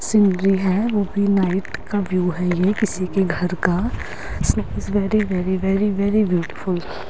scenery है वो भी नाइट का व्यू है ये किसी के घर का very very very very beautiful --